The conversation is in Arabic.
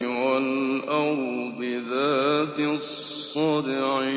وَالْأَرْضِ ذَاتِ الصَّدْعِ